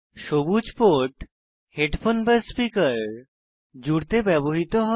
সবুজ port headphone speaker জুড়তে ব্যবহৃত হয়